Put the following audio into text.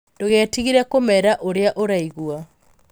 Ndũgetigĩre kũmeera ũrĩa ũraigua.